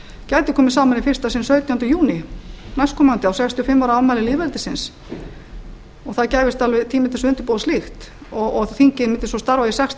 gæti komið saman í fyrsta sinn sautjánda hún næst komandi á sextíu og fimm ára afmæli lýðveldisins það gæfist alveg tími til að undirbúa slíkt og þingið mundi svo starfa í sex til